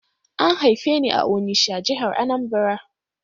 An haife ni a Onitsha, jihar Anambra.